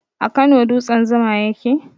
A Kano dutsen zuma ya ke?